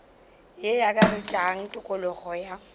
ye e akaretša tokologo ya